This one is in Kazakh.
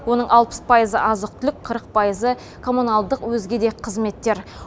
оның алпыс пайызы азық түлік қырық пайызы коммуналдық өзге де қызметтер